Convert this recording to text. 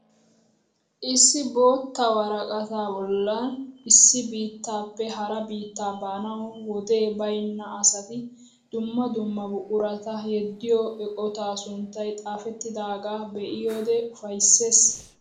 Issi bootta woraqataa bollan issi biittaappe hara biitta baanawu wodee baynna asati dumma dumma buqurata yeddiyo eqotaa sunttay xaafettidaagaa be'iyode ufayisses.